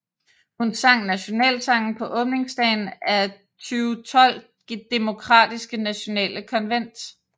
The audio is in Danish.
Hun sang nationalsangen på åbningsdagen af 2012 Demokratiske Nationale Konvent